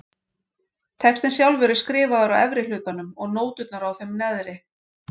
Textinn sjálfur er skrifaður á efri hlutanum og nóturnar á þeim neðri.